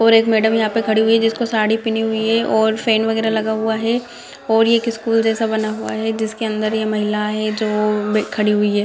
और एक मैडम यहाँ पे खड़ी हुई है जिसको साड़ी पहनी हुई है और फैन वगैर लगा हुआ है और ये एक स्कूल जैसा बना हुआ है जिसके अंदर ये महिला है जो खड़ी हुई है ।